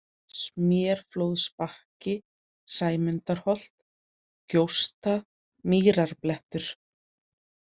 Smérflóðsbakki, Sæmundarholt, Gjósta, Mýrarblettur